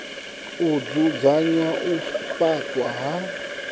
u dzudzanya u faṱwa ha